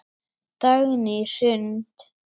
Dagný Hrund.